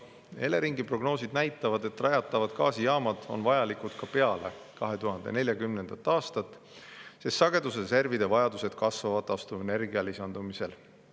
Eleringi prognoosid näitavad, et rajatavad gaasijaamad on vajalikud ka peale 2040. aastat, sest sagedusreservide vajadused taastuvenergia lisandumisel kasvavad.